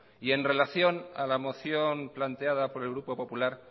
en relación a la moción planteada por el grupo popular